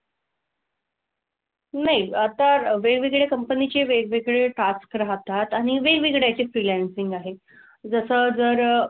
नाही आता वेगवेगळे company चे वेगवेगळे task राहतात. आणि वेगवेगळे याचे freelancing आहे. जसं जर,